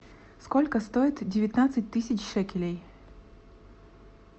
сколько стоит девятнадцать тысяч шекелей